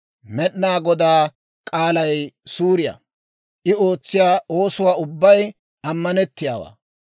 Med'inaa Godaa k'aalay suuriyaa; I ootsiyaa oosuwaa ubbay ammanettiyaawaa.